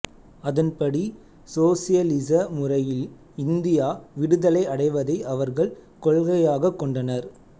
அதன்படி சோசியலிச முறையில் இந்தியா விடுதலை அடைவதை அவர்கள் கொள்கையாகக் கொண்டனர்